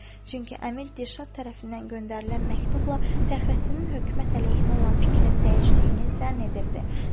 Çünki əmir Dilşad tərəfindən göndərilən məktubla Fəxrəddinin hökumət əleyhinə olan fikrinin dəyişdiyini zənn edirdi.